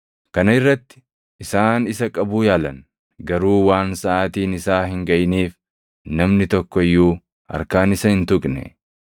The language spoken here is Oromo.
Kana irratti isaan isa qabuu yaalan; garuu waan saʼaatiin isaa hin gaʼiniif namni tokko iyyuu harkaan isa hin tuqne.